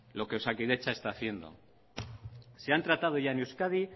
lo que osakidetza está haciendo se han tratado ya en euskadi